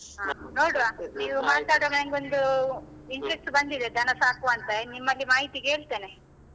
ಹ ನೋಡುವಾ ನೀವ್ ಮಾತಡ್ವಾಗ ನಂಗೊಂದೂ interest ಬಂದಿದೆ ದನಸಾಕುವಾಂತ ಇನ್ನ್ ನಿಮ್ಮಗೆ ಮಾಹಿತಿ ಕೇಳ್ತೇನೆ.